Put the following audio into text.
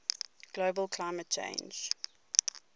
global climate change